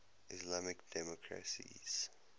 islamic democracies